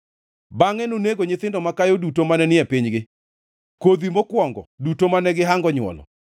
Bangʼe nonego nyithindo makayo duto mane ni e pinygi, kodhi mokwongo duto mane gihango nywolo.